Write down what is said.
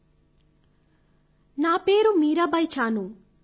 ౩ నా పేరు మీరాబాయ్ చానూ